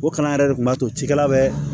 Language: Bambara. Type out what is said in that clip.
O kalan yɛrɛ de kun b'a to cikɛla bɛ